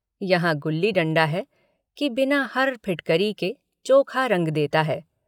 यहाँ गुल्ली डण्डा है कि बिना हर फिटकरी के चोखा रंग देता है।